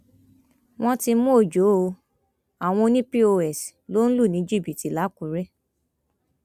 wọn ti mú ọjọ o àwọn ọnì pọs ló ń lù ní jìbìtì làkùrẹ